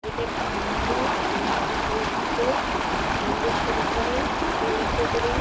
এটা একটি মন্দির মন্দির দেখা যাচ্ছে-এ- মন্দির-টার উপরে একটি উঁচু করে--